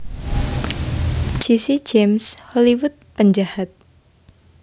Jesse James Hollywood penjahat